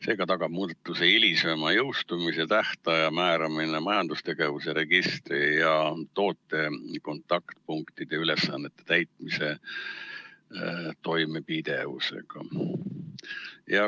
Seega tagab hilisema jõustumistähtaja määramine majandustegevuse registri ja toote kontaktpunktide ülesannete täitmise toimepidevuse.